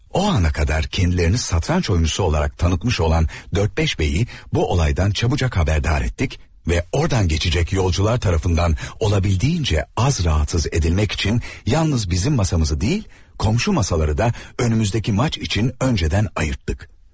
O ana qədər özlərini şahmatçı olaraq tanıtmış olan dörd-beş bəyi bu hadisədən tez xəbərdar etdik və oradan keçəcək sərnişinlər tərəfindən mümkün qədər az narahat edilmək üçün yalnız bizim masamızı deyil, qonşu masaları da qarşıdakı oyun üçün əvvəlcədən ayırtdıq.